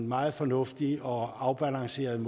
meget fornuftigt og afbalanceret